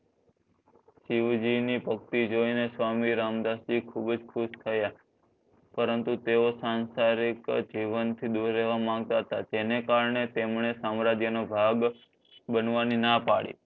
શિવજી ની ભક્તિ જોઈ ને સ્વામિ રામદાસજી ખુબજ ખુશ થયા પરંતુ તેઓ સાંસારિક જીવન થી દૂર રહવા માગતા હતા તેને કારણે તેમણે સામ્રાજ્ય નો ભાગ બનવાની ના પાડી